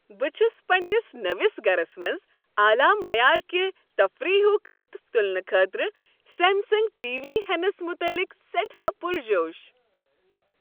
بہٕ چُھس پننِس نٔوس گرس منز اعلی معیارکہ تفریحک لطف تلنہٕ خٲطرٕ سیمسنگ ٹی وی ہینس متعلق سیٹھاہ پرجوس